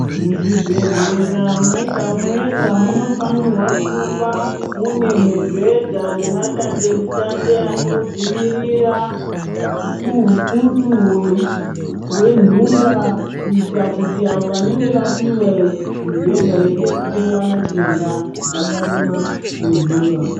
Muzvibhedhlera mwega mwega munofanira kuva mune mubhedha nemadandemutande anodzivirira hukutu hwentunga kuitira kuti avo vanenge vapihwa mubhedha veida kuhloyiwa nachiremba vasarumwa ngentunga.